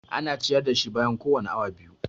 Ana ciyar da shi bayan kowane awa biyu.